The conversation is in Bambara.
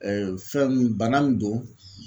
fɛn nun , bana min don